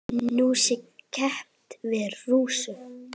Nú sé keppt við Rússa.